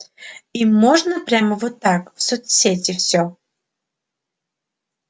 им можно прямо вот так в соцсети всё